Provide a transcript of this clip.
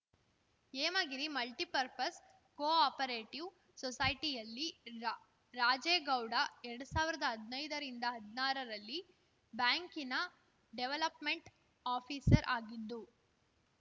Hemagiri multipurpose co operative ಸೊಸೈಟಿಯಲ್ಲಿರಾ ರಾಜೇಗೌಡ ಎರಡ್ ಸಾವಿರ್ದಾ ಹದ್ನೈದ್ರಿಂದಹದ್ನಾರರಲ್ಲಿ ಬ್ಯಾಂಕಿನ ಡೆವಲಪ್‌ಮೆಂಟ್‌ ಆಫೀಸರ್‌ ಆಗಿದ್ದು